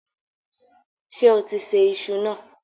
Ṣé o ti sè iṣu náà?